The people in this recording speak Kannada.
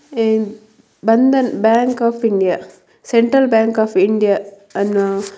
ಹಾಗೆಯೇ bank of India central bank of India ಅನ್ನುವ --